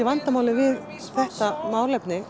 vandamálið við þessi málefni